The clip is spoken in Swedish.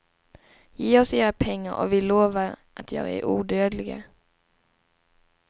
Ge oss era pengar och vi lovar att göra er odödliga.